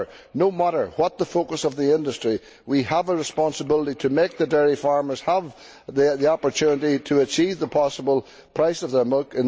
However, no matter what the focus of the industry, we have a responsibility to ensure dairy farmers have the opportunity to achieve the best possible price for their milk.